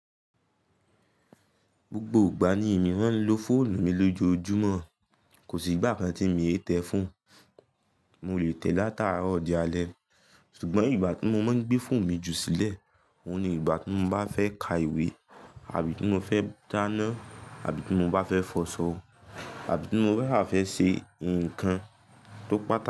Gbogbo ìgbà ni èmi máa ń lo fóònù mi lójoojúmọ́, kò sí ìgbà kan tí mi e tẹ́ ẹ fon. Mo lè tẹ̀ẹ látàárọ̀ dé alẹ́, ṣùgbọ́n ìgbà tí mo máa ń gbé fóònù mi jù sílẹ̀, òun ni ìgbà tí mo bá fẹ́ ka ìwé, àbí tí mo fẹ́ dáná, àbí tí mo bá fẹ́ fọṣọ, àbí tí mo fẹ́ ha fẹ́ ṣe ǹkan tó pàtàkì.